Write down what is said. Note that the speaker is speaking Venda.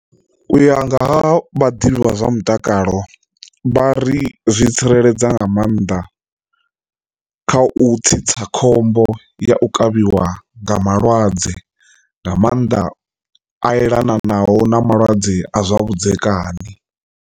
U ya nga ha vhaḓivhi vha zwa mutakalo vha ri zwi tsireledza nga maanḓa kha u tsitsa khombo ya u kavhiwa nga malwadze nga maanḓa a elanaho na malwadze a zwa vhudzekani.